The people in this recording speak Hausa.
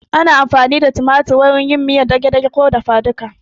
Ana amfani da niƙaƙen tumatir wurin yin miyar dage-dage ko dafa duka